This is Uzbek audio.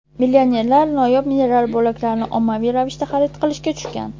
Millionerlar noyob mineral bo‘laklarini ommaviy ravishda xarid qilishga tushgan.